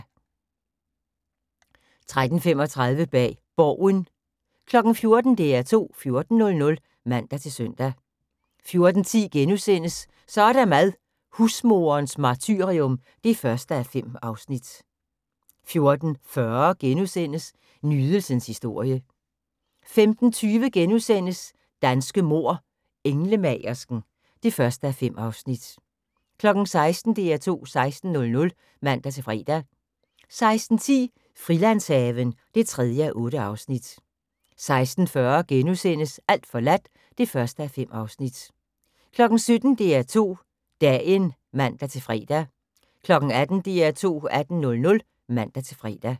13:35: Bag Borgen 14:00: DR2 14.00 (man-søn) 14:10: Så er der mad - Husmoderens martyrium (1:5)* 14:40: Nydelsens historie * 15:20: Danske mord: Englemagersken (1:5)* 16:00: DR2 16.00 (man-fre) 16:10: Frilandshaven (3:8) 16:40: Alt forladt (1:5)* 17:00: DR2 Dagen (man-fre) 18:00: DR2 18.00 (man-fre)